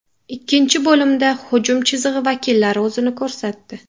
Ikkinchi bo‘limda hujum chizig‘i vakillari o‘zini ko‘rsatdi.